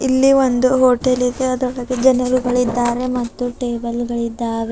ಇಲ್ಲಿ ಒಂದು ಹೋಟೆಲ್ ಇದೆ ಅದರೊಳಗೆ ಜನರುಗಳು ಇದ್ದಾರೆ ಮತ್ತು ಟೇಬಲ್ ಗಳಿದ್ದಾವೆ.